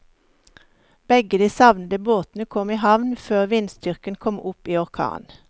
Begge de savnede båtene kom i havn før vindstyrken kom opp i orkan.